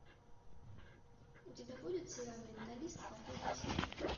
у тебя будет сериал менталист последний сезон